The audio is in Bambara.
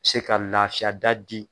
Se ka lafiya da di.